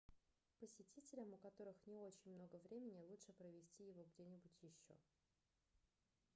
посетителям у которых не очень много времени лучше провести его где-нибудь еще